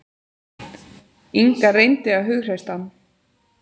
Inga reyndi að hughreysta hann.